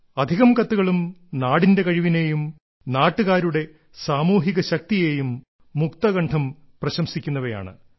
അധികം കത്തുകളും നാടിന്റെ കഴിവിനേയും നാട്ടുകാരുടെ സാമൂഹിക ശക്തിയെയും മുക്തകണ്ഠം പ്രശംസിക്കുന്നവയാണ്